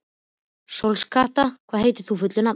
Sólkatla, hvað heitir þú fullu nafni?